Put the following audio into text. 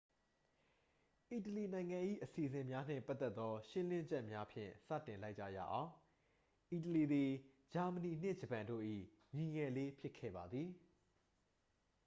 "အီတလီနိုင်ငံ၏ အစီအစဉ်များနှင့်ပတ်သက်သော ရှင်းလင်းချက်များဖြင့် စတင်လိုက်ကြရအောင်။ အီတလီသည် ဂျာမနီနှင့် ဂျပန်တို့၏ "ညီငယ်လေး" ဖြစ်ခဲ့ပါသည်။